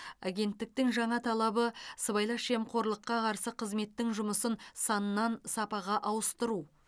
агенттіктің жаңа талабы сыбайлас жемқорлыққа қарсы қызметтің жұмысын саннан сапаға ауыстыру